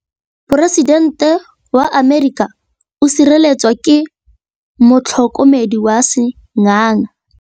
Poresitêntê wa Amerika o sireletswa ke motlhokomedi wa sengaga.